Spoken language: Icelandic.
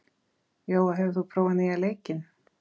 Jóa, hefur þú prófað nýja leikinn?